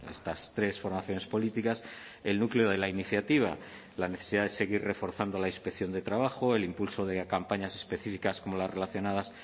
estas tres formaciones políticas el núcleo de la iniciativa la necesidad de seguir reforzando la inspección de trabajo el impulso de campañas específicas como las relacionadas